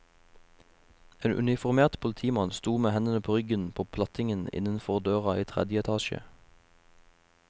En uniformert politimann sto med hendene på ryggen på plattingen innenfor døra i tredje etasje.